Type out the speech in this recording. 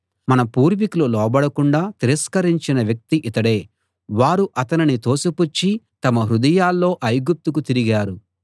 మన పూర్వీకులు లోబడకుండా తిరస్కరించిన వ్యక్తి ఇతడే వారు అతనిని తోసిపుచ్చి తమ హృదయాల్లో ఐగుప్తుకు తిరిగారు